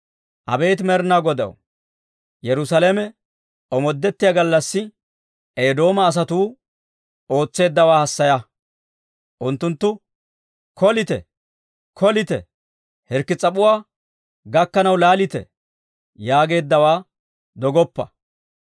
Abeet Med'inaa Godaw, Yerusaalame omoodettiyaa gallassi, Eedooma asatuu ootseeddawaa hassaya; unttunttu, «kolite! kolite! Hirkki s'ap'uwaa gakkanaw laalite!» yaageeddawaa dogoppa.